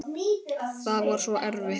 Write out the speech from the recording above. Það var svo erfitt.